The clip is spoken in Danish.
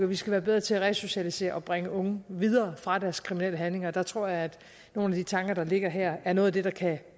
vi skal være bedre til at resocialisere og bringe unge videre fra deres kriminelle handlinger der tror jeg at nogle af de tanker der ligger her er noget af det der kan